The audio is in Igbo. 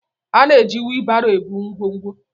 A na-eji wheelbaro ebu ngwongwo.